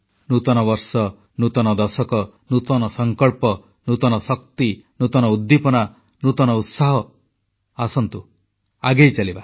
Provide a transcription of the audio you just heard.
ନୂତନ ବର୍ଷ ନୂତନ ଦଶକ ନୂତନ ସଂକଳ୍ପ ନୂତନ ଶକ୍ତି ନୂତନ ଉଦ୍ଦୀପନା ନୂତନ ଉତ୍ସାହ ଆସନ୍ତୁ ଆଗେଇଚାଲିବା